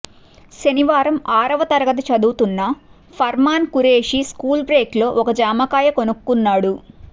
శనివారం ఆరవ తరగతి చదువుతున్న ఫర్మాన్ ఖురేషి స్కూల్ బ్రేక్ లో ఒక జామకాయ కొనుక్కున్నాడు